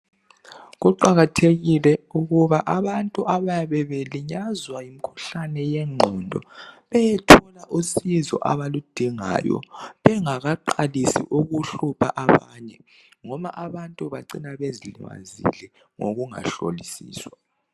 Kuqakathekile ukuba abantu abayabe belinyazwa ngumkhuhlane wengqondo beyethola usizo abaludingayo bengakaqalisi ukuhlupha abanye ngoba abantu bacina bezilimazile ngokungahlolisiswa